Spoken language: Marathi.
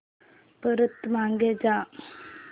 परत मागे जा